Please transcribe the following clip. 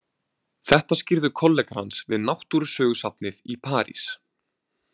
Þetta skýrðu kollegar hans við Náttúrusögusafnið í París.